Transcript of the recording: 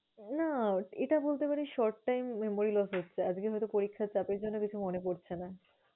না, এটা বলতে পারিস short time memory loss হচ্ছে, আজকে হয়তো পরীক্ষার চাপের জন্য কিছু মনে পরছে না।